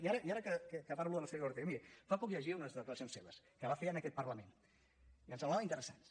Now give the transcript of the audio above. i ara que parlo de la senyora ortega miri fa poc llegia unes declaracions seves que va fer en aquest parlament i em semblaven interessants